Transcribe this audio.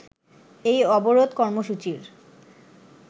এই অবরোধ কর্মসূচির